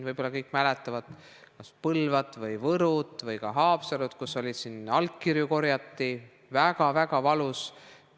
Võib-olla kõik mäletavad veel Põlvat või Võru või ka Haapsalu, kus korjati allkirju, see oli väga-väga valus.